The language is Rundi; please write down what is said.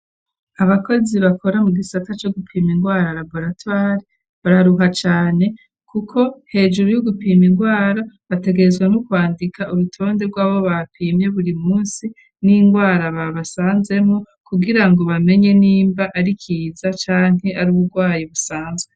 Abakozi bakora mu gisata co gupima indwara laboratwari bararuha cane kuko hejuru y'u gupima indwara bategezweno kwandika urutonde bw'abo bapimye buri munsi n'indwara babasanzemo kugira ngo bamenye n'imba ari kiza canke ari uburwayi busanzwe.